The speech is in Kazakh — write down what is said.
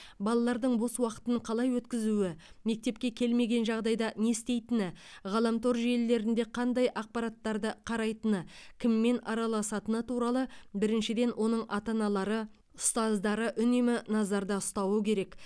балалардың бос уақытын қалай өткізуі мектепке келмеген жағдайда не істейтіні ғаламтор желілерінде қандай ақпараттарды қарайтыны кіммен араласатыны туралы біріншіден оның ата аналары ұстаздары үнемі назарда ұстауы керек